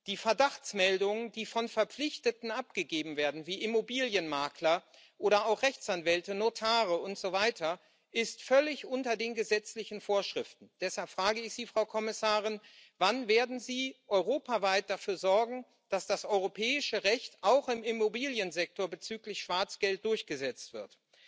Die Verdachtsmeldungen, die von Verpflichteten wie Immobilienmaklern oder auch Rechtsanwälten, Notaren und so weiter abgegeben werden, sind völlig unter den gesetzlichen Vorschriften. Deshalb frage ich Sie, Frau Kommissarin Wann werden Sie europaweit dafür sorgen, dass das europäische Recht auch im Immobiliensektor bezüglich Schwarzgeld durchgesetzt wird?